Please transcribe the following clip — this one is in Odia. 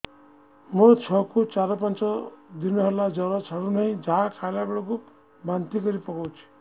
ମୋ ଛୁଆ କୁ ଚାର ପାଞ୍ଚ ଦିନ ହେଲା ଜର ଛାଡୁ ନାହିଁ ଯାହା ଖାଇଲା ବେଳକୁ ବାନ୍ତି କରି ପକଉଛି